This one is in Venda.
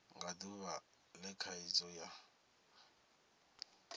nga duvha le khaidzo yo